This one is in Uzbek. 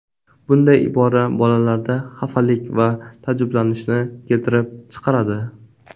Bunday ibora bolalarda xafalik va taajjublanishni keltirib chiqaradi.